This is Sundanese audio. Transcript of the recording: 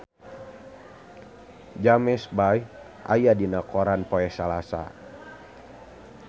James Bay aya dina koran poe Salasa